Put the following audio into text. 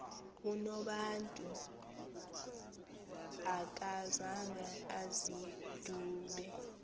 unobantu akazanga azidube